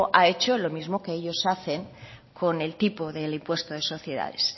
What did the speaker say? ha hecho lo mismo que ellos hacen con el tipo del impuesto de sociedades